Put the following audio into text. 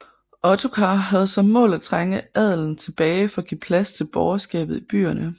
Ottokar havde som mål at trænge adelen tilbage for at give plads til borgerskabet i byerne